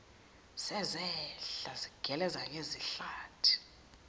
sezehla zigeleza ngezihlathi